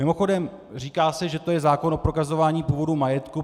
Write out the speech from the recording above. Mimochodem, říká se, že to je zákon o prokazování původu majetku.